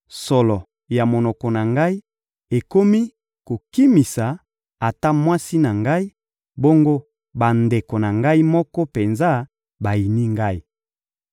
Solo ya monoko na ngai ekomi kokimisa ata mwasi na ngai, bongo bandeko na ngai moko penza bayini ngai.